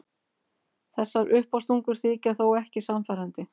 Þessar uppástungur þykja þó ekki sannfærandi.